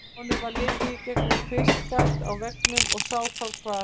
Honum varð litið í gegnum kvistgat á veggnum og sá þá hvar